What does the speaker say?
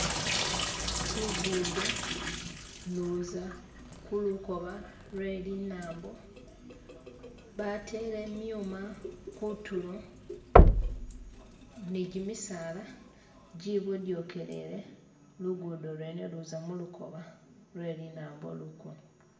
Luguudo uluuza kulukoba lwe linambo batere myuma kunturo nigyimisala gyibodokelete luguudo lwene uluuza mulukooba lwe linambo.